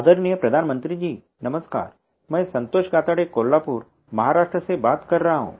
आदरणीय प्रधानमंत्री जी नमस्कार मैं संतोष काकड़े कोल्हापुर महाराष्ट्र से बात कर रहा हूँ